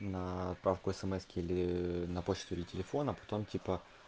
на отправку смс-ки или на почту или телефон а потом типа